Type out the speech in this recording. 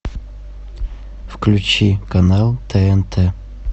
включи канал тнт